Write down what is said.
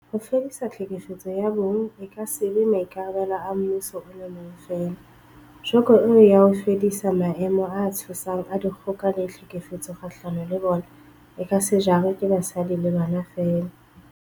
Ho fedisa tlhekefetso ya bong e ka se be maikarabelo a mmuso o le mong feela, joko eo ya ho fedisa maemo a tshosang a dikgoka le tlhekefetso kgahlano le bona, e ka se jarwe ke basadi le bana feela.